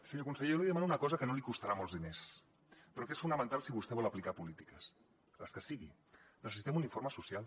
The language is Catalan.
senyor conseller jo li demano una cosa que no li costarà molts diners però que és fonamental si vostè vol aplicar polítiques les que siguin necessitem un informe social